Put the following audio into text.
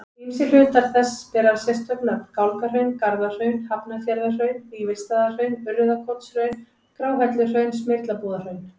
Ýmsir hlutar þess bera sérstök nöfn, Gálgahraun, Garðahraun, Hafnarfjarðarhraun, Vífilsstaðahraun, Urriðakotshraun, Gráhelluhraun, Smyrlabúðarhraun.